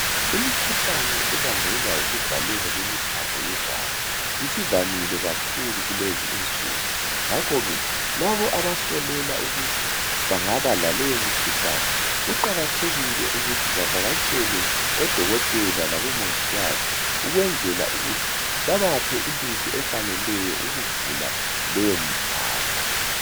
Imikhuhlane ebangelwa yikuvaleka kwemithambo yegazi isivamile kakhulu kulezinsuku. Ngakho ke, labo abasolela ukuthi bangaba laleyo mikhuhlane, kuqakathekile ukuthi bavakatshele odokotela labomongikazi ukwenzela ukuthi bebaphe imithi efaneleyo eyokuvula leyo mithambo.